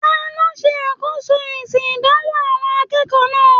Taló n ṣe akoso èsì ìdánwò àwọn akẹ́kọ̀ọ́ náà?